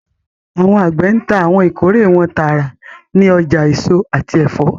Awọn agbe ńta awọn ikore wọn taara ni ọja eso ati ẹfọ